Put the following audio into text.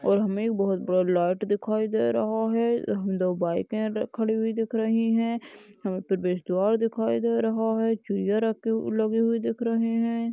और हमे बहोत बड़ी लाइट दिखाई दे रहा है दो बाइके खड़ी हुई दिख रही है ह म प्रवेश द्वार दिखाई दे रहा है चुहिया राखी लगी हुई दिख हैं।